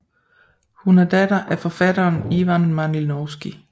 Hun er datter af forfatteren Ivan Malinovski